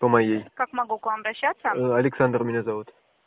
по моей как могу к вам обращаться александр меня зовут